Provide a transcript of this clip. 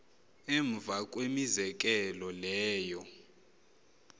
emva kwemizekelo leyo